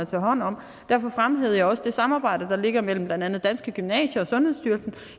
tage hånd om derfor fremhævede jeg også det samarbejde der er mellem blandt andet danske gymnasier og sundhedsstyrelsen